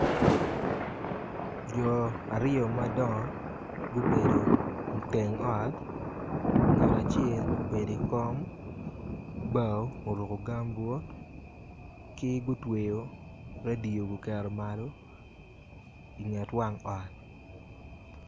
Jo aryo madongo gubedo iteng ot ngat acel obei ikom bao oruku gambut ki gutweyo redio guketo malo inget wang ot